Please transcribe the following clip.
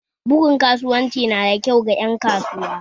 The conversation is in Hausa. Bugun kasuwanci nada kyau ga ƴan kasuwa